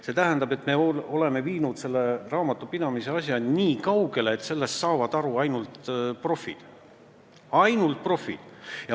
See tähendab, et me oleme viinud selle raamatupidamise asja nii kaugele, et sellest saavad aru ainult profid.